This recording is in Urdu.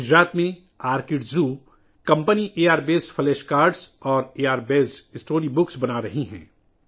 گجرات میں R kid zoo company A R پر مبنی فلیش کارڈز اور اے آر پر مبنی اسٹوری بکس بنا رہی ہے